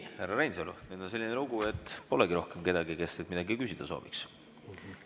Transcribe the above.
Härra Reinsalu, nüüd on selline lugu, et polegi rohkem kedagi, kes teilt midagi küsida sooviks.